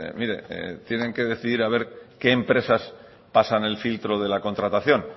mire tienen que decidir a ver qué empresas pasan el filtro de la contratación